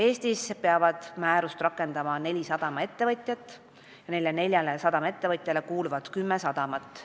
Eestis peavad määrust rakendama neli sadamaettevõtjat ja neile kuuluvad kümme sadamat.